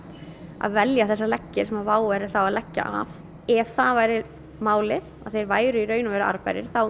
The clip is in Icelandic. að velja þessa leggi sem WOW væri að leggja af ef það væri málið að þeir væru raunverulega arðbærir þá